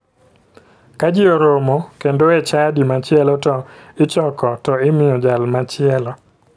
Ka ji oromo kendo e chadi machielo to ichoko to imiyo jal machielo